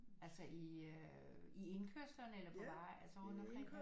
Altså i indkørslerne eller på veje altså rundt omkring